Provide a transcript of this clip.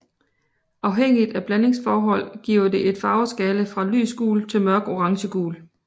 Afhængigt af blandingsforhold giver det en farveskala fra lys gul til mørk orangegul